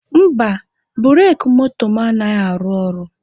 Mba, bureki moto m anaghị arụ ọrụ.